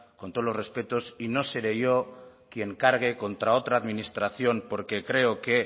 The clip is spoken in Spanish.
con todos los respetos y no seré yo quien cargue contra otra administración porque creo que